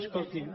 escolti’m